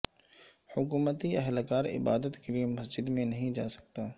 حکومتی اہلکار عبادت کے لیے مسجد میں نہیں جا سکتا